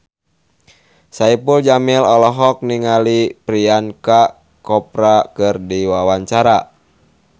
Saipul Jamil olohok ningali Priyanka Chopra keur diwawancara